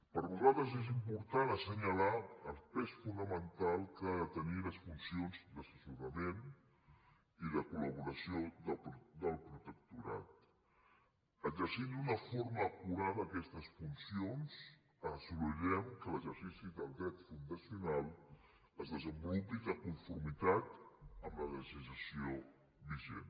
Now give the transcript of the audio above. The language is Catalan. per nosaltres és important assenyalar el pes fonamental que han de tenir les funcions d’assessorament i de col·d’una forma acurada aquestes funcions assolirem que l’exercici del dret fundacional es desenvolupi de conformitat amb la legislació vigent